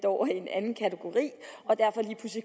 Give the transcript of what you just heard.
over i en anden kategori